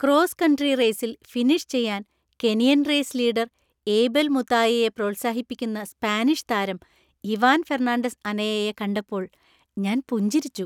Cross country റേസിൽ finish ചെയ്യാൻ Kenyan race leader Abel മുതായയെ പ്രോത്സാഹിപ്പിക്കുന്ന സ്പാനിഷ് താരം ഇവാൻ ഫെർണാണ്ടസ് അനയയെ കണ്ടപ്പോൾ ഞാൻ പുഞ്ചിരിച്ചു.